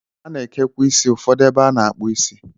A na-ekekwa isi ụfọdụ ebe a na-akpụ isi.